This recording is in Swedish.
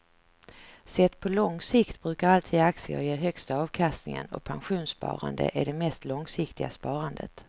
Sett på lång sikt brukar alltid aktier ge högsta avkastningen och pensionssparande är det mest långsiktiga sparandet.